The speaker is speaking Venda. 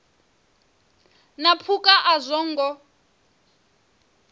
na phukha a zwo ngo